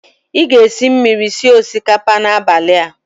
Ị ga-esi mmiri sie osikapa n'abalị a?